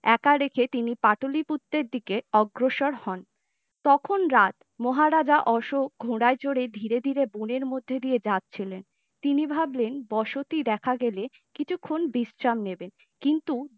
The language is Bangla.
একা রেখে তিনি পাটলিপুত্র দিকে অগ্রসর হন তখন রাত মহারাজা অশোক ঘোড়ায় চড়ে ধীরে ধীরে বনের মধ্য দিয়ে যাচ্ছিলেন তিনি ভাবলেন বসতি দেখা গেলে কিছুক্ষণ বিশ্রাম নেবে কিন্তু